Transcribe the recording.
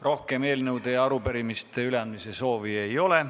Rohkem eelnõude ja arupärimiste üleandmise soovi ei ole.